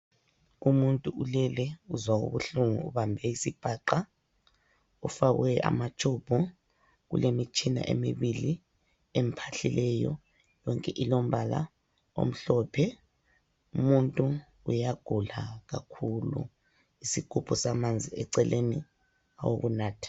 Umuthi ulele uzwa ubuhlungu ubambe isiphaqa ufakwe amatube ulemitshina emibili emphahlileyo yonke ilombala omhlophe umuntu uyagula kakhulu isigubhu samanzi eceleni awokunatha.